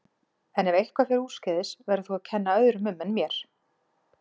En ef eitthvað fer úrskeiðis verður þú að kenna öðrum um en mér.